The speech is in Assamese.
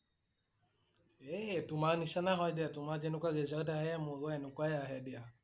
এ তোমাৰ নিছিনা হয় দিয়া, তোমাৰ জেনেকুৱা result আহে মোৰো হেনেকুৱাই আহে দিয়া ।